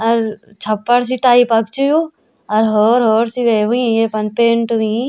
अर छप्पर सी टाईपक च यू और होर होर सिले हुईं येफर पेंट हुयी।